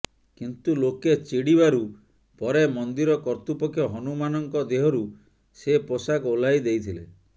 କିନ୍ତୁ ଲୋକେ ଚିଡ଼ିବାରୁ ପରେ ମନ୍ଦିର କର୍ତ୍ତୃପକ୍ଷ ହନୁମାନଙ୍କ ଦେହରୁ ସେ ପୋଷାକ ଓହ୍ଲାଇ ଦେଇଥିଲେ